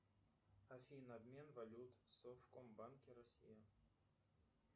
афина обмен валют в совкомбанке россия